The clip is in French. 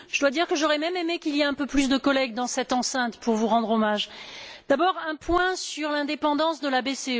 Je dois dire que j'aurais même aimé qu'il y ait un peu plus de collègues dans cette enceinte pour vous rendre hommage. Tout d'abord, un point sur l'indépendance de la BCE.